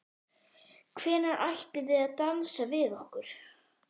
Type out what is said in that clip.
Tryggingaráð skal hafa eftirlit með fjárhag, rekstri og starfsemi